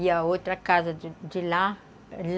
E a outra casa de de lá.